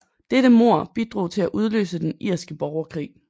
Dette mord bidrog til at udløse den Den irske borgerkrig